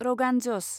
रगान जस